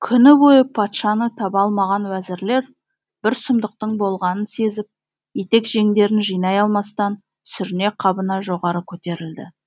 күні бойы патшаны таба алмаған уәзірлер бір сұмдықтың болғанын сезіп етек жеңдерін жинай алмастан сүріне қабына жоғары көтерілді